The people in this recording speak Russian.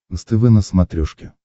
нств на смотрешке